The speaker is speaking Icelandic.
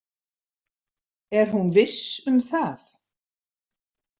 Er hún viss um það?